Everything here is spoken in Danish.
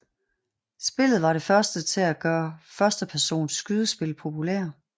Spillet var det første til at gøre førstepersons skydespil populære